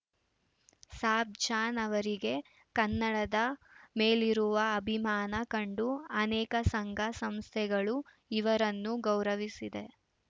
ಸಾಬ್‌ ಜಾನ್‌ ಅವರಿಗೆ ಕನ್ನಡದ ಮೇಲಿರುವ ಅಭಿಮಾನ ಕಂಡು ಅನೇಕ ಸಂಘಸಂಸ್ಥೆಗಳು ಇವರನ್ನು ಗೌರವಿಸಿದೆ